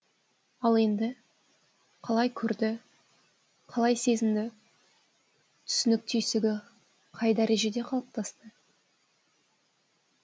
ал енді қалай көрді қалай сезінді түсінік түйсігі қай дәрежеде қалыптасты